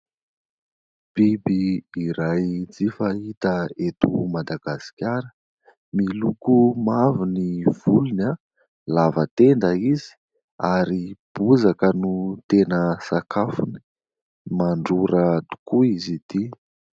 Biby iray tsy fahita eto Madagasikara : miloko mavo ny volony, lava tenda izy, ary bozaka no tena sakafony; mandrora tokoa izy ity.